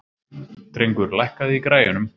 Drengur, lækkaðu í græjunum.